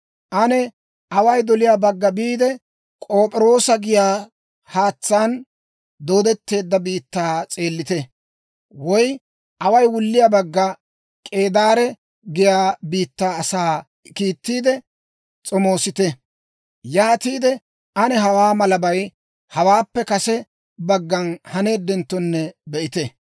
Ane away doliyaa bagga biide, K'op'iroosa giyaa haatsaan dooddetteedda biittaa s'eellite. Woy away wulliyaa bagga K'eedaare giyaa biittaa asaa kiittiide s'omoosissite. Yaatiide ane hawaa malabay hawaappe kase baggan haneeddenttonne be'ite.